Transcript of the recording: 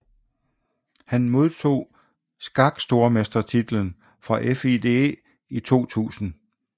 Han modtog skakstormestertitlen fra FIDE i 2000